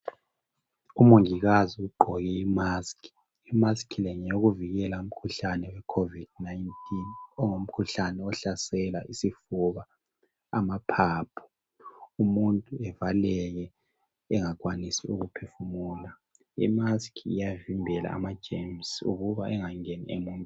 Umongikazi ugqoke imask. Imask le ngeyokuvikela umkhuhlane wecovid 19. Ongumkhuhlane ohlasela isifuba, amaphaphu. Umuntu evaleke, engakwanisi ukuphefumula. lmask iyavimbela amagerms ukuthi engangeni emuntwi...